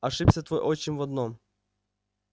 ошибся твой отчим в одном